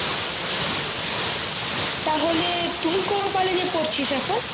তাহলে তুই কোন college এ পড়ছিস এখন